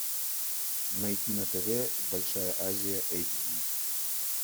найти на тв большая азия эйч ди